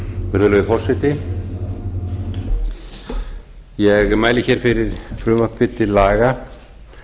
virðulegi forseti ég mæli hér fyrir frumvarpi til laga